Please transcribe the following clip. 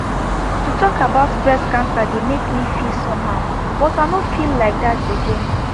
to talk about breast cancer dey make me feel somehow but i nor feel like that again